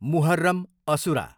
Muharram, asura